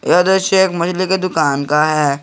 यह दृश्य एक महिले के दुकान का है।